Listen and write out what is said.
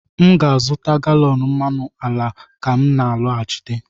m ga-azụta galọn mmanụ ala ka m na-alọghachite